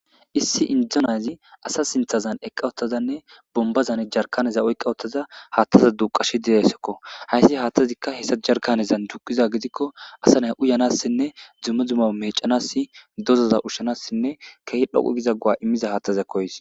issi indzonayzi asa sinthazan eqqa ottazanne bombazan jarkaneza oyqqawottaza haattaza duqashi deyayssokko hayssi haattazikka hessa jarkanezan juqiza gidikko asa nay uyanassinne dzumme dzuma meecanass dozoza ushshanassinne kehi dhoqu giza gua immiza haattaza ko hays